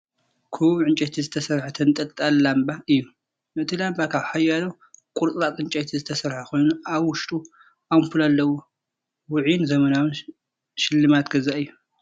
ክቡብ ዕንጨይቲ ዝተሰርሐ ተንጠልጣሊ ላምባ እዩ። እቲ ላምባ ካብ ሓያሎ ቁርጽራጽ ዕንጨይቲ ዝተሰርሐ ኮይኑ ኣብ ውሽጡ ኣምፑል ኣለዎ። ውዑይን ዘመናውን ስልማት ገዛ እዩ፡፡